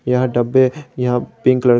यह डब्बे यह पिंक कलर --